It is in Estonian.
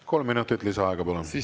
Kolm minutit lisaaega, palun!